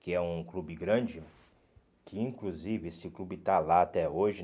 Que é um clube grande, que inclusive esse clube está lá até hoje, né?